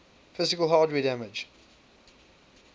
physical hardware damage